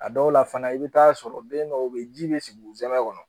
A dɔw la fana i bɛ taa sɔrɔ den dɔw bɛ yen ji bɛ sigi u zɛmɛ kɔnɔ